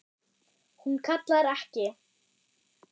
Hún kallar ekki